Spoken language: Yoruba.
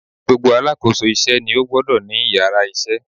Gbogbo Alákóso ilé isé ni ó gbodò ní yàrá isé